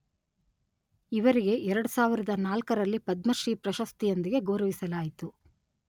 ಇವರಿಗೆ ಎರಡು ಸಾವಿರದ ನಾಲ್ಕರಲ್ಲಿ ರಲ್ಲಿ ಪದ್ಮ ಶ್ರೀ ಪ್ರಶಸ್ತಿಯೊಂದಿಗೆ ಗೌರವಿಸಲಾಯಿತು.